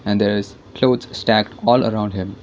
and there is clothes stacked all around him.